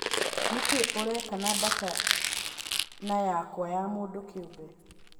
Nĩ kĩĩ ũreka na data na yakwa ya mũndũ kĩũmbe